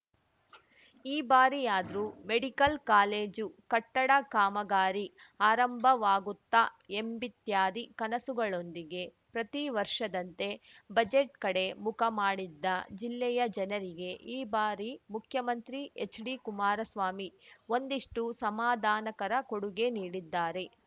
ಈ ಬಾರಿಯಾದ್ರೂ medical college ಕಟ್ಟಡ ಕಾಮಗಾರಿ ಆರಂಭವಾಗುತ್ತಾ ಎಂಬಿತ್ಯಾದಿ ಕನಸುಗಳೊಂದಿಗೆ ಪ್ರತಿ ವರ್ಷದಂತೆ ಬಜೆಟ್‌ ಕಡೆ ಮುಖ ಮಾಡಿದ್ದ ಜಿಲ್ಲೆಯ ಜನರಿಗೆ ಈ ಬಾರಿ ಮುಖ್ಯಮಂತ್ರಿ ಹೆಚ್‌ಡಿಕುಮಾರಸ್ವಾಮಿ ಒಂದಿಷ್ಟುಸಮಾಧಾನಕರ ಕೊಡುಗೆ ನೀಡಿದ್ದಾರೆ